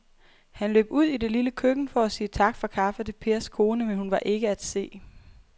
Han løb ud i det lille køkken for at sige tak for kaffe til Pers kone, men hun var ikke til at se.